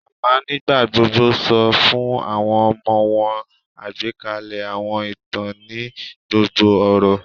Mama nigbagbogbo sọ fun awọn ọmọ wọn agbekalẹ awọn itan ni gbogbo oru